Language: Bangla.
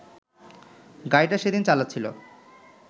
গাড়িটা সেদিন চালাচ্ছিল